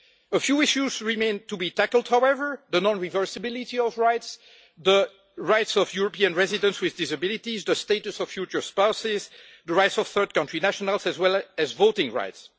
A few issues remain to be tackled, however the non reversibility of rights, the rights of European residents with disabilities, the status of future spouses, the rights of third country nationals, as well as voting rights.